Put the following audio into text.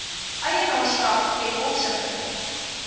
eienaarskap ten opsigte